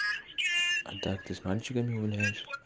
а так ты с мальчиками гуляешь